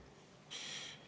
Urmas Reinsalu, palun!